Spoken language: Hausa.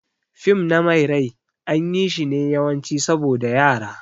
Fim na mai rai an yi shi ne yawanci saboda Yara.